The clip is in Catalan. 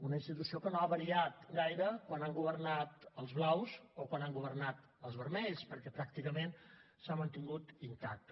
una institució que no ha variat gaire quan han governat els blaus o quan han governat els vermells perquè pràcticament s’ha mantingut intacta